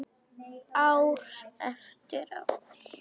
Ár eftir ár.